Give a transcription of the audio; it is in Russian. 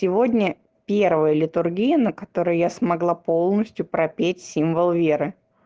сегодня первая литургия на которой я смогла полностью пропеть символ веры